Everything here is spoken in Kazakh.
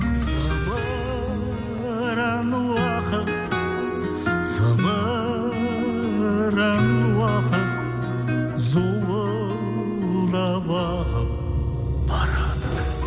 зымыран уақыт зымыран уақыт зуылдап ағып барады